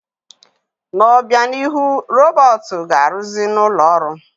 N'obịanihu, robọọtụ ga-arụzị n'ụlọ ọrụ.